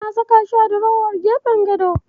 Na saka shi a durowar gefen gado.